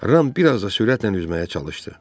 Ram biraz da sürətlə üzməyə çalışdı.